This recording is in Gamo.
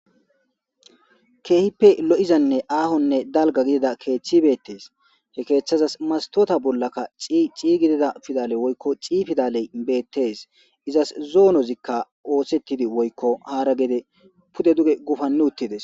keehippe lo'izanne aahonne dalga gidida keeththi beettees he keeththazas mastoota bollaka ciciiygidida fidale woykko ci fidaley beettes izas zoonozikka oosettidi woykko haara geede pude duge gufanni uttides